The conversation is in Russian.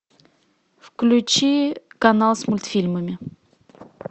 включи канал с мультфильмами